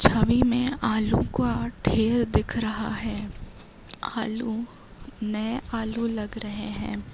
छवि में आलू का ठेल दिख रहा है आलू नए आलू लग रहे हैं।